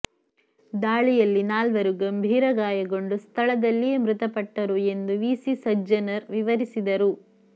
ದಾಳಿಯಲ್ಲಿ ನಾಲ್ವರು ಗಂಭೀರ ಗಾಯಗೊಂಡು ಸ್ಥಳದಲ್ಲಿಯೇ ಮೃತಪಟ್ಟರು ಎಂದು ವಿ ಸಿ ಸಜ್ಜನರ್ ವಿವರಿಸಿದರು